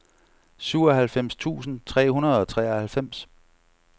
syvoghalvfems tusind tre hundrede og treoghalvfems